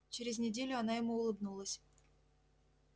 через неделю она ему улыбнулась